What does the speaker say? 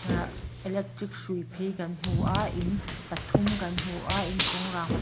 ehh electric hrui phei kan hmu aaa in pathum kan hmu a inchung rangva--